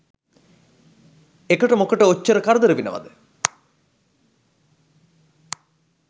එකට මොකට ඔච්චර කරදර වෙනවද?